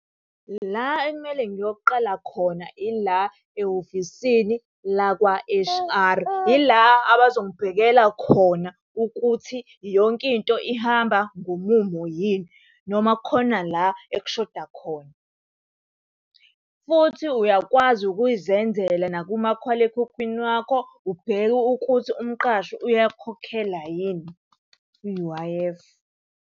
La ekumele ngiyoqala khona ila ehhovisini lakwa H_R. Yila abazongibhekela khona ukuthi yonke into ihamba ngomumo yini, noma khona la ekushoda khona. Futhi uyakwazi ukuyizenzela nakumakhalekhukhwini wakho, ubheke ukuthi umqashi uyakukhokhela yini i-U_I_F.